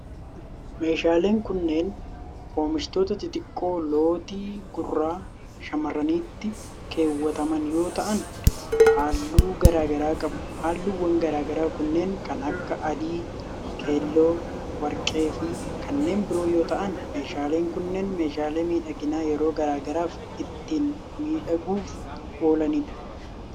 Meeshaaleen kunneen oomishoota xixiqqoo lootii gurra shamarraniitti keewwataman yoo ta'an, haalluu garaa garaa qabu. Haalluuwwan garaa garaa kunneen kan akka :adii, keelloo, warqee fi kanneen biroo yoo ta'an, meeshaaleen kunneen meeshaalee miidhaginaa yeroo garaa garaaf ittiin miidhaguuf oolanidha.